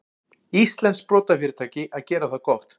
Íslenskt sprotafyrirtæki að gera það gott